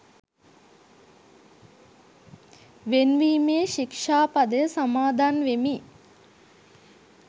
වෙන් වීමේ ශික්‍ෂා පදය සමාදන් වෙමි.